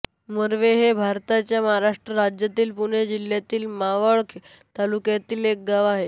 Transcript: मोरवे हे भारताच्या महाराष्ट्र राज्यातील पुणे जिल्ह्यातील मावळ तालुक्यातील एक गाव आहे